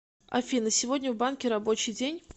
афина сегодня в банке рабочий день